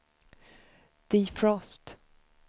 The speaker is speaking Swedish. defrost